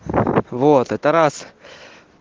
вот это раз